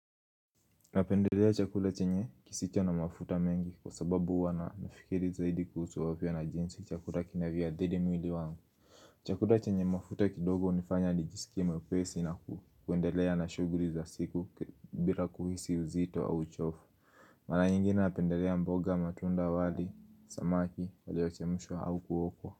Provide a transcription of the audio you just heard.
Napendelea chakuda chenye kisicho na mafuta mengi kwa sababu wana nafikiri zaidi kuhusu vya na jinsi chakuda kina vya adhili mwili wangu Chakula chenye mafuta kidogo nafanya nijisikie mwepesi na kuendelea na shughuli za siku bila kuhisi uzito au chofu Mara ingine napendelea mboga matunda wali, samaki, walio chemushwa au kuokwa.